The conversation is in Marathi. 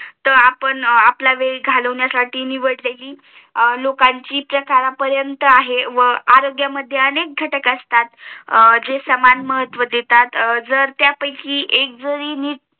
तर आपण आपल्या वेळ घालवण्यासाठी निवडले कि लोकयांची चा दारपरेंत आहे व आरोग्यामध्ये अनेक घटक असतात जे सामान महत्व देतात जर त्यापैकी